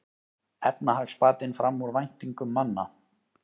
Efnahagsbatinn fram úr væntingum manna